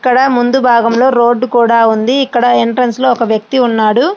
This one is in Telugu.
ఇక్కడ ముందు భాగంలో రోడ్డు కూడా ఉంది. ఇక్కడ ఎంట్రెన్స్ ఒక వ్యక్తి ఉన్నాడు.